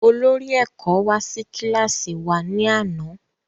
Olórí ẹ̀kọ́ wá sí kílàsì wa ní àná